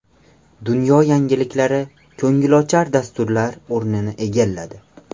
Dunyo yangiliklari ko‘ngilochar dasturlar o‘rnini egalladi.